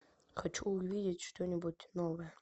хочу увидеть что нибудь новое